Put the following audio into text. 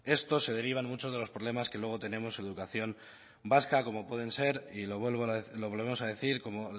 estos se derivan mucho de los problemas que luego tenemos en educación vasca como pueden ser y lo volvemos a decir como